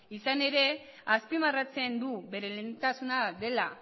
izan ere azpimarratzen du bere lehentasuna dela